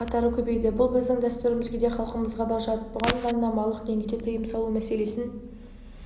қатары көбейді бұл біздің дәстүрімізге де халқымызға да жат бұған заңнамалық деңгейде тыйым салу мәселесін